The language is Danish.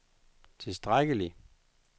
tilstrækkelig